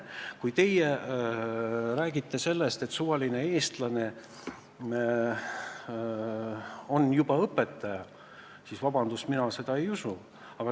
Kui te räägite sellest, et suvaline eestlane juba on õpetaja, siis vabandust, mina seda ei usu.